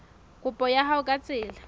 kopo ya hao ka tsela